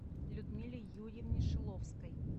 людмиле юрьевне шиловской